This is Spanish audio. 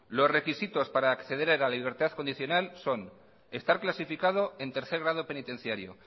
los requisitos para acceder a la libertad condicional son estar clasificado en tercer grado penitenciario